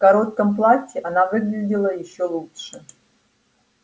в коротком платье она выглядела ещё лучше